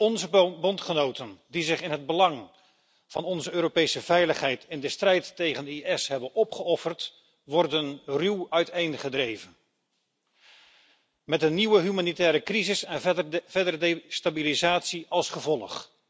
Onze bondgenoten die zich in het belang van onze Europese veiligheid in de strijd tegen IS hebben opgeofferd, worden ruw uiteengedreven, met een nieuwe humanitaire crisis en verdere destabilisatie als gevolg.